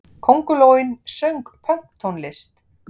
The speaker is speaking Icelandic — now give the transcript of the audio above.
Köngulóin söng pönktónlist!